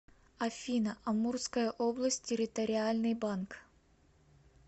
афина амурская область территориальный банк